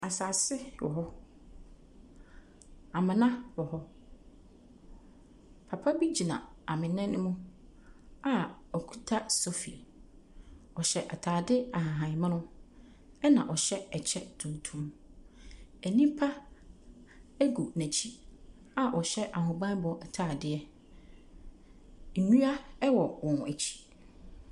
Asase wɔ hɔ. Amena wɔ hɔ. Papa bi gyina amena no mu a ɔkuta sofi. Ɔhyɛ atade ahahan mono, ɛnna ɔhyɛ kyɛ tuntum. Nnipa gu n'akyi a wɔhyɛ ahobammɔ atadeɛ. Nnua wɔ wɔn akyi.